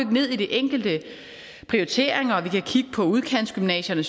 ned i de enkelte prioriteringer og vi kan kigge på udkantsgymnasierne